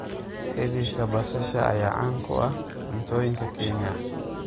Xididka basasha ayaa caan ku ah cuntooyinka Kenya.